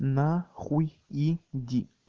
нахуй иди